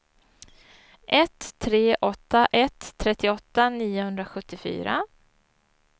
ett tre åtta ett trettioåtta niohundrasjuttiofyra